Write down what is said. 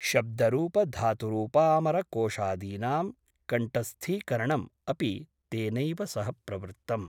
शब्दरूपधातुरूपामरकोषादीनां कण्ठस्थीकरणम् अपि तेनैव सह प्रवृत्तम् ।